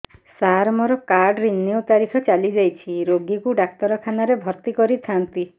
ସାର ମୋର card renew ତାରିଖ ଚାଲି ଯାଇଛି ରୋଗୀକୁ ଡାକ୍ତରଖାନା ରେ ଭର୍ତି କରିଥାନ୍ତି